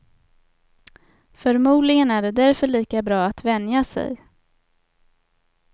Förmodligen är det därför lika bra att vänja sig.